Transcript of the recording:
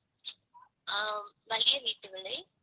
அஹ் வலிய வீட்டு விலை.